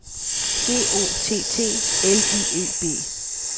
G O T T L I E B